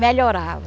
Melhorava.